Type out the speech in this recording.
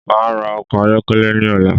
Máa ra ọkọ̀ ayọ́kẹ́lẹ́ ní ọ̀la